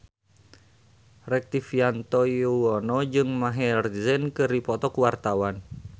Rektivianto Yoewono jeung Maher Zein keur dipoto ku wartawan